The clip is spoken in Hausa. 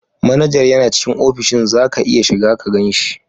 Manajar yana cikin ofishin, za ka iya shiga ka gan shi.